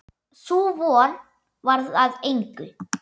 Sú von varð að engu.